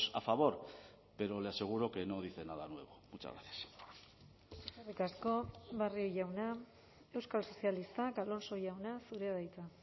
a favor pero le aseguro que no dice nada nuevo muchas gracias eskerrik asko barrio jauna euskal sozialistak alonso jauna zurea da hitza